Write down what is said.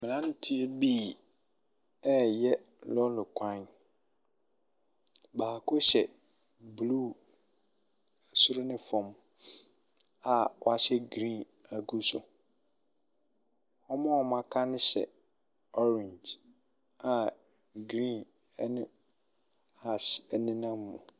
Mmeranteɛ bi reyɛ lɔɔre kwan. Baako hyɛ blue soro ne fam a wahyɛ green agu so. Wɔn a wɔaka no hyɛ orange a green ne ash nenam mu.